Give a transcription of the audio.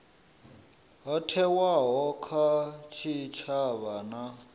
ho thewaho kha tshitshavha na